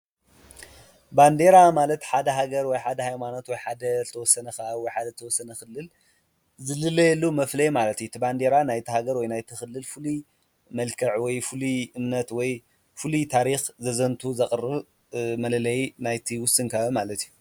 ባንዴራ ማለት ሓደ ሃገር ወይ ሓደ ሃይማኖት ወይ ሓደ ዝተወሰነ ወይ ከዓ ወይ ሓደ ተወሰነ ኽልል ዝፍለየሉ መፍለይ ማለት እዩ፡፡ እቲ ባንዴራ ናይቲ ሃገር ወይ ናይቲ ኽልል ፍሉይ መልከዕ ወይ ፍሉይ እምነት ወይ ፍሉይ ታሪኽ ዘዝንቱ ዘቕርብ መለለይ ናይቲ ውስን ከባቢ ማለት እዩ፡፡